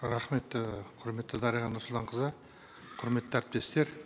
рахмет і құрметті дариға нұрсұлтанқызы құрметті әріптестер